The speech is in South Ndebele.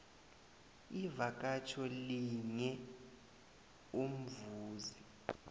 ivakatjho linye umzuzi